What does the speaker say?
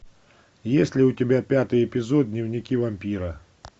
есть ли у тебя пятый эпизод дневники вампира